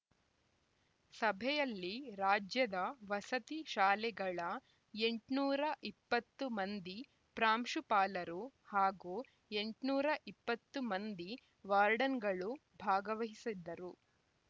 ಸಭೆಯಲ್ಲಿ ರಾಜ್ಯದ ವಸತಿ ಶಾಲೆಗಳ ಎಂಟುನೂರ ಇಪ್ಪತ್ತು ಮಂದಿ ಪ್ರಾಂಶುಪಾಲರು ಹಾಗೂ ಎಂಟುನೂರ ಇಪ್ಪತ್ತು ಮಂದಿ ವಾರ್ಡನ್‌ಗಳು ಭಾಗವಹಿಸಿದ್ದರು